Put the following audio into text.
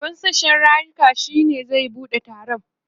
shugaban sashen yaruka shine zai buɗe taron